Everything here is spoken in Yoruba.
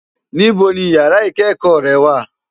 Nibó ni iyàrá ikëkò rè wá?